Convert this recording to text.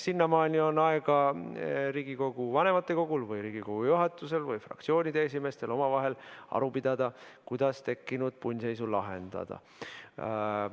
Sinnamaani on Riigikogu vanematekogul või Riigikogu juhatusel või fraktsioonide esimeestel aega omavahel aru pidada, kuidas tekkinud punnseisu lahendada.